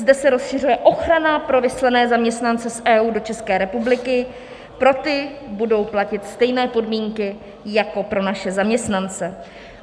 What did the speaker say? Zde se rozšiřuje ochrana pro vyslané zaměstnance z EU do České republiky, pro ty budou platit stejné podmínky jako pro naše zaměstnance.